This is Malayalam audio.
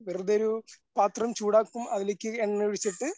വെറുതെ ഒരു പാത്രം ചൂടാക്കും അതിലേക്ക് എണ്ണ ഒഴിച്ചിട്ട്